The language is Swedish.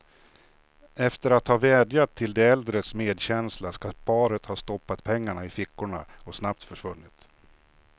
Efter att ha vädjat till de äldres medkänsla skall paret ha stoppat pengarna i fickorna och snabbt försvunnit.